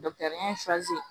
ɲɛ fzɛri